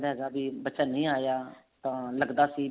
ਜਾਂਦਾ ਹੈਗਾ ਜੇ ਬੱਚਾ ਨਹੀਂ ਆ ਰਿਹਾ ਤਾਂ ਡਰਦਾ